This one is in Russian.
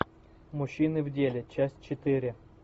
мужчины в деле часть четыре